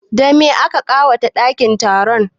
Da me aka ƙawata ɗakin taron?